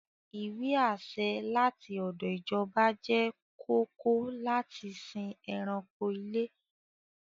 Ìwé-àṣẹ láti ọdọ̀ ìjọba jẹ́ kóòkó láti lè sìn ẹranko ilé.